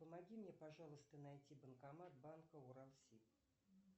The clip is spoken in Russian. помоги мне пожалуйста найти банкомат банка уралсиб